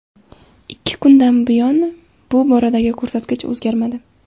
Ikki kundan buyon bu boradagi ko‘rsatkich o‘zgarmadi.